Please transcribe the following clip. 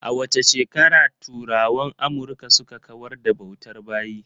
A wace shekara turawan Amurka suka kawar da bautar bayi?